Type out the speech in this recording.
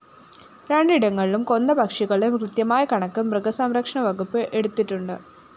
രണ്ടിടങ്ങളിലും കൊന്ന പക്ഷികളുടെ കൃത്യമായ കണക്ക് മൃഗസംരക്ഷണവകുപ്പ് എടുത്തിട്ടുണ്ട്